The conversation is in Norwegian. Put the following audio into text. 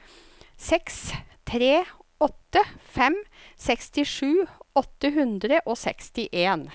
seks tre åtte fem sekstisju åtte hundre og sekstien